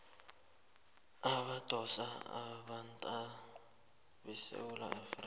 abadosa umtato basesewula